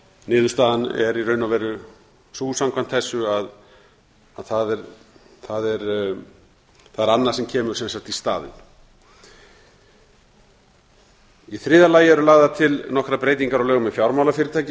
niðurstaðan er í raun og veru sú samkvæmt þessu að það er annað sem kemur í staðinn í þriðja lagi eru lagðar til nokkrar breytingar á lögum um fjármálafyrirtæki eins og